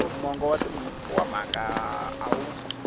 mongo wa mhaka a wu